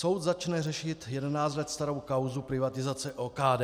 Soud začne řešit 11 let starou kauzu privatizace OKD.